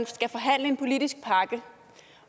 skal forhandles en politisk pakke